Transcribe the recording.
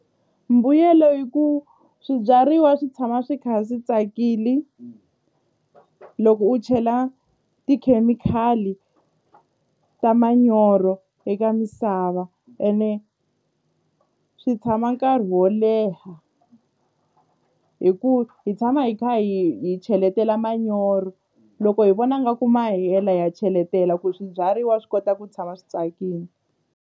Mbuyelo yi ku swibyariwa swi tshama swi kha swi tsakile loko u chela tikhemikhali ta manyoro eka misava ene swi tshama nkarhi wo leha hi ku hi tshama hi kha hi cheletela manyoro loko hi vona nga ku mahela ya cheletela ku swibyariwa swi kota ku tshama swi tsakile.